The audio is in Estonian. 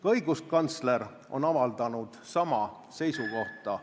Ka õiguskantsler on avaldanud sama seisukoha.